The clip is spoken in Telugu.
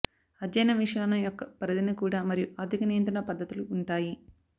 అధ్యయనం విషయాలను యొక్క పరిధిని కూడా మరియు ఆర్థిక నియంత్రణ పద్ధతులు ఉంటాయి